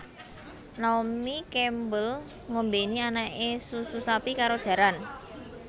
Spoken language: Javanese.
Naomi Campbell ngombeni anake susu sapi karo jaran